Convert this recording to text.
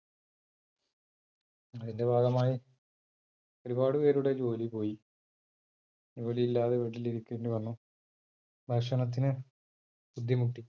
അതിന്റെ ഭാഗമായി ഒരുപാട് പേരുടെ ജോലി പോയി, ജോലി ഇല്ലാതെ വീട്ടില് ഇരിക്കേണ്ടി വന്നു ഭക്ഷണത്തിന് ബുദ്ധിമുട്ടി